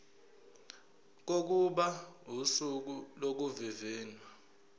kokuba usuku lokuvivinywa